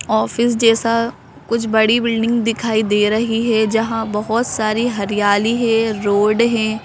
Office जैसा कुछ बड़ी बिल्डिंग दिखाई दे रही है जहाँ बहुत सारी हरियाली है रोड हैं।